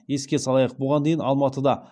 еске салайық бұған дейін алматыда